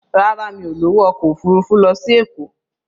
Rárá, mi ò lówó ọkọ̀ òfurufú lọ sí Èkó.